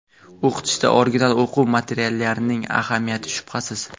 O‘qitishda original o‘quv materiallarining ahamiyati shubhasiz.